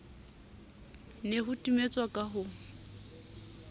ne ho timetswa ka ho